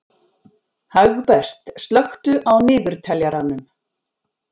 Hagbert, slökktu á niðurteljaranum.